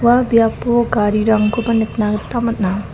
ua biapo garirangkoba nikna gita man·a.